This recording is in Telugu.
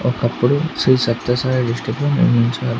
ఒకప్పుడు శ్రీ సత్య సాయి డిస్ట్రిక్ట్ ను నిర్మించారు.